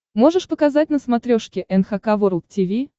можешь показать на смотрешке эн эйч кей волд ти ви